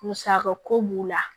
Musaka ko b'u la